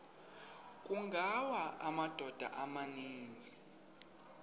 kungawa amadoda amaninzi